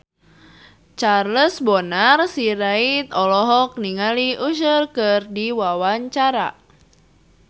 Charles Bonar Sirait olohok ningali Usher keur diwawancara